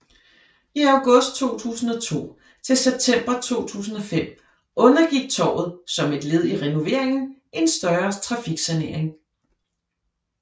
I august 2002 til september 2005 undergik torvet som et led i renoveringen en større trafiksanering